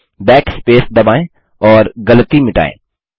backspace दबाएँ और गलती मिटाएँ